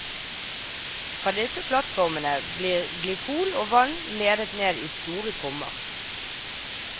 Fra disse plattformene blir glykol og vann ledet ned i store kummer.